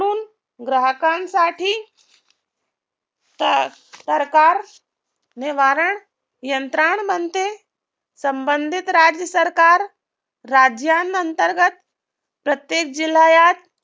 ग्राहकांसाठी सरकार निवारण यंत्रांमध्ये संबंधित राज्य सरकार राज्यांअंतर्गत प्रत्येक जिल्ह्यात